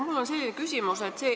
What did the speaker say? Mul on selline küsimus.